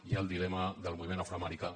hi ha el dilema del moviment afroamericà